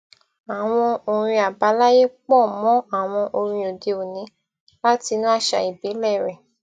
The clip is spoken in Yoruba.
àwọn orin àbáláyé pọ mọ àwọn orin òdeòní láti inú àṣà ìbílẹ rẹ